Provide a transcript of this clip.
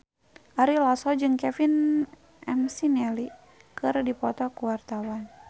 Ari Lasso jeung Kevin McNally keur dipoto ku wartawan